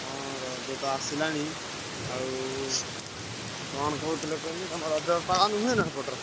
ହଁ ରଜ ତ ଆସିଲାଣି। ଆଉ କଣ କହୁଥିଲି କୁହନି ତମ ରଜ ପାଳନ ହୁଏ ନା ସେପଟର?